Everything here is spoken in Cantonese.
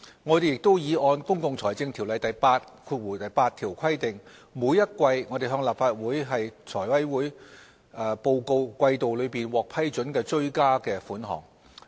我們亦已按《條例》第88條的規定，每季向立法會及財務委員會報告季度內獲批准的追加撥款。